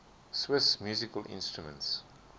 swiss musical instruments